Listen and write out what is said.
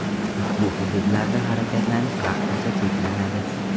Ushbu hududlarda harakatlanish vaqticha cheklanadi.